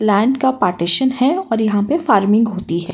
Line का partition है और यहाँ पे फार्मिंग होती है।